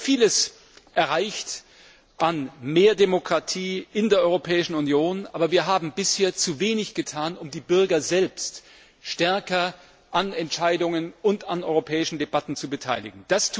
Wir haben vieles erreicht an mehr Demokratie in der Europäischen Union, aber wir haben bisher zu wenig getan, um die Bürger selbst stärker an Entscheidungen und an europäischen Debatten zu beteiligen.